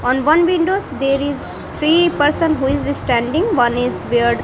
on one windows there is three person who is standing one is beard --